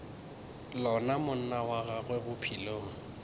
lona monna wa gago bophelong